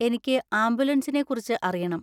എനിക്ക് ആംബുലൻസിനെ കുറിച്ച് അറിയണം.